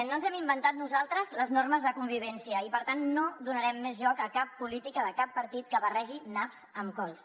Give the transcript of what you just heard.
no ens hem inventat nosaltres les normes de convivència i per tant no donarem més joc a cap política de cap partit que barregi naps amb cols